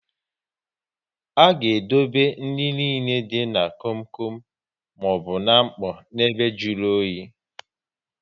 Aga edobe nri nile dị na kom kom maọbụ n'mkpọ na ebe jụrụ oyi